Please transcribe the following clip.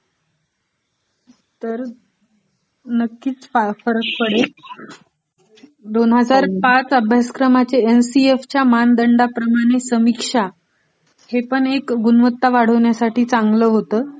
तर नक्कीच फरक पडेल, दोन हजार पाच अभ्यासक्रमाचे एनसीएफच्या मानदंडाप्रमाणे समीक्षा हे पण गुणवत्ता वाढविण्यासाठी चांगल होत